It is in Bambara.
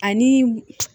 Ani